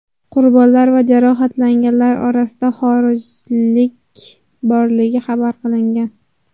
Qurbonlar va jarohatlanganlar orasida xorijlik borligi xabar qilingan.